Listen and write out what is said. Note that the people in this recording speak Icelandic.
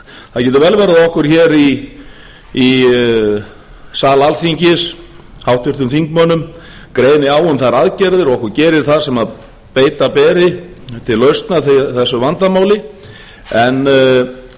það getur vel verið að okkur hér í sal alþingis háttvirtir þingmenn greini á um þær aðgerðir og okkur gerir það sem beita beri til lausnar þessu vandamáli en því